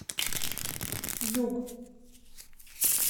юг